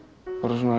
bara svona